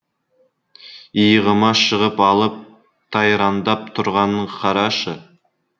иығыма шығып алып тайраңдап тұрғанын қарашы